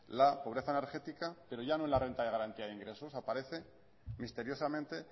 la pobreza energética pero ya no en la renta de garantía de ingresos aparece misteriosamente